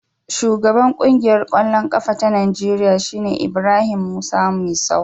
Shugaban Ƙungiyar ƙwallon ƙafa ta Najeriya shine Ibrahim Musa Misau.